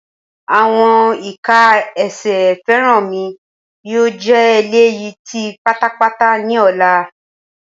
Awọn ika ẹsẹ Feranmi yoo jẹ eleyi ti patapata ni ọla.